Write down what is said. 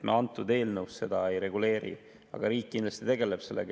Me antud eelnõus seda ei reguleeri, aga riik kindlasti tegeleb sellega.